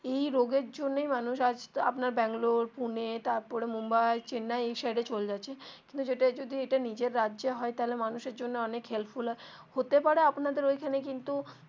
এই রোগ এর জন্যে মানুষ আজ আপনার ব্যাঙ্গালোর পুনে তারপরে মুম্বাই চেন্নাই এ সাইড এ চলে যাচ্ছে কিন্তু ইটা যদি নিজের রাজ্যে হয় তাহলে মানুষ এর জন্য অনেক helpful হয় হতে পারে আপনাদের ঐখানে কিন্তু.